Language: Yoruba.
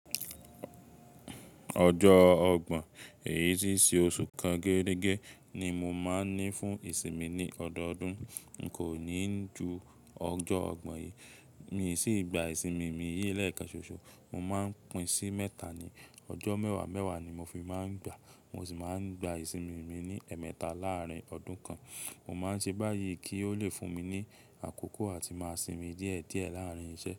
Ọjọ́ ọgbọ̀n, èyí ti ṣe oṣu kan geẹ́regẹ́ ni mo máa ń ní fún ìsinmi ní ọdọọdún. N kò ní ju ọjọ́ ọgbọ̀n yìí. Mi sì gba ìsinmi mi yìí lẹ́ẹ̀kanṣọsọ̀. Mo máa ń pín sí mẹ́ta ni, ọjọ́ mẹ́wàá mẹ́wàá ni mo fi máa ń gba. Mo sì máa ń gba ìsinmi mi ní ẹ̀ẹ̀mẹta láàárín ọdún kan. Mo máa ń ṣe báyìí kí ó lè fún mi ní àkókò àti máa sinmi díẹ̀ díẹ̀ láàárín iṣẹ́.